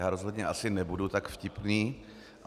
Já rozhodně asi nebudu tak vtipný.